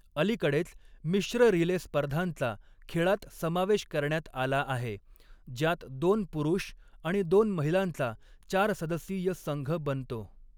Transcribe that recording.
अलीकडेच, मिश्र रिले स्पर्धांचा खेळात समावेश करण्यात आला आहे, ज्यात दोन पुरुष आणि दोन महिलांचा चार सदस्यीय संघ बनतो.